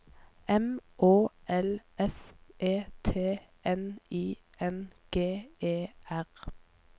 M Å L S E T N I N G E R